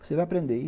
Você vai aprender.